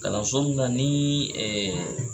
Kalanso mun ka nii